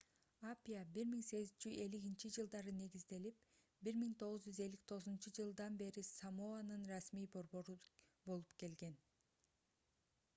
апиа 1850-жж негизделип 1959-ж бери самоанын расмий борбору болуп келген